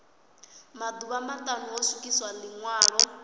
maḓuvha maṱanu ho swikiswa ḽiṅwalo